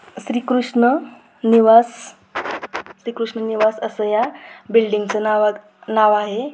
श्रीकृष्ण निवास श्रीकृष्ण निवास अस या बिल्डिंग च नाव आहे.